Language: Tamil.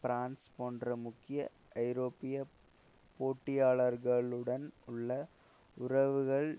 பிரான்ஸ் போன்ற முக்கிய ஐரோப்பிய போட்டியாளர்களுடன் உள்ள உறவுகள்